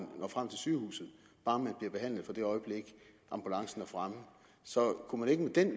når frem til sygehuset bare de bliver behandlet fra det øjeblik ambulancen er fremme så kunne man ikke med den